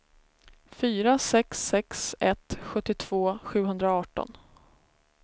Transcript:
fyra sex sex ett sjuttiotvå sjuhundraarton